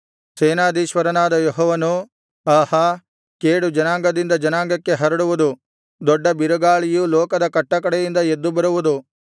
ಸೇನಾಧೀಶ್ವರನಾದ ಯೆಹೋವನು ಆಹಾ ಕೇಡು ಜನಾಂಗದಿಂದ ಜನಾಂಗಕ್ಕೆ ಹರಡುವುದು ದೊಡ್ಡ ಬಿರುಗಾಳಿಯು ಲೋಕದ ಕಟ್ಟಕಡೆಯಿಂದ ಎದ್ದು ಬರುವುದು